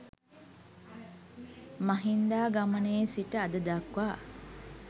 මහින්දාගමනයේ සිට අද දක්වා